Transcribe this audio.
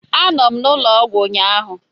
Anọ m n'ụlọ ọgwụ ụnyahụ.